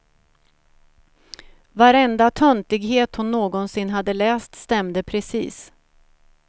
Varenda töntighet hon någonsin hade läst stämde precis.